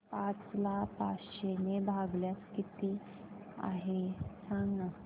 पाच ला पाचशे ने भागल्यास किती आहे सांगना